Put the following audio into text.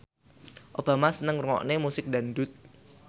Obama seneng ngrungokne musik dangdut